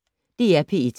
DR P1